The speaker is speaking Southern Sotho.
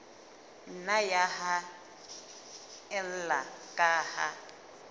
nna ya haella ka ha